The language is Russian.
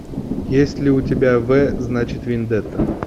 есть ли у тебя вэ значит вендетта